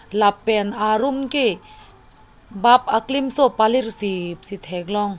lapen arum ke bap aklimso palir sip si theklong.